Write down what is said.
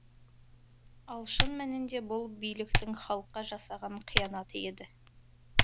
ал шын мәнінде бұл биліктің халыққа жасаған қиянаты еді